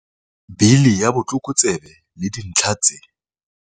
Bili ya Botlokotsebe le Dintlha tse